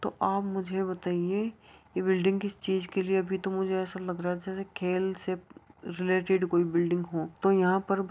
तो आप मुझे बताइए ये बिल्डिंग किस चीज के लिए अभी तो मुझे ऐसा लग रहा है जैसे खेल से रिलेटेड कोई बिल्डिंग हो तो यहाँ पर ब --